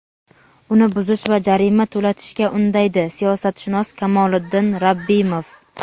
uni buzish va jarima to‘latishga undaydi – siyosatshunos Kamoliddin Rabbimov.